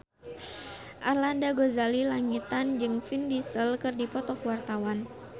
Arlanda Ghazali Langitan jeung Vin Diesel keur dipoto ku wartawan